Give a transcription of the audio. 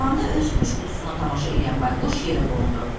Tavanda öz puşqutusuna tamaşa eləyən Bayquş yerə qondu.